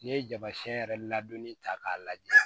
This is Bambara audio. N'i ye jabacɛ yɛrɛ ladonni ta k'a lajɛ